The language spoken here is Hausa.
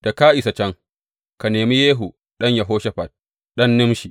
Da ka isa can, ka nemi Yehu ɗan Yehoshafat, ɗan Nimshi.